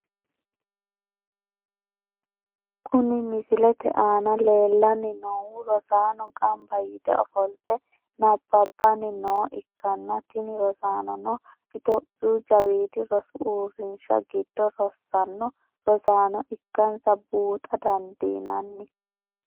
Kuni misilete aana leellanni noohu rosaano gamba yite ofolte nabbabanni nooha ikanna , tini rosaanono topiyu jawiidi rosu uurrinsha giddo rossanno rosaano ikkansa buuxa dandiinanni.